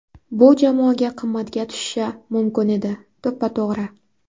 Bu jamoaga qimmatga tushishi mumkin edi... - To‘ppa–to‘g‘ri.